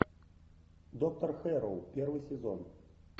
доктор хэрроу первый сезон